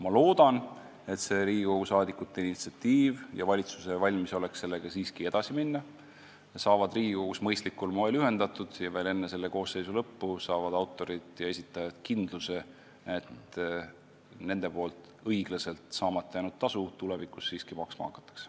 Ma loodan, et Riigikogu saadikute initsiatiiv ja valitsuse valmisolek sellega siiski edasi minna saavad Riigikogus mõistlikul moel ühendatud ja veel enne selle koosseisu lõppu saavad autorid ja esitajad kindluse, et neile seni ülekohtuselt saamata jäänud tasu tulevikus siiski maksma hakatakse.